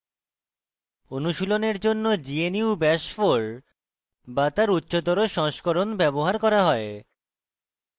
অনুশীলনের জন্য gnu bash 4 bash তার উচ্চতর সংস্করণ ব্যবহার করা হয়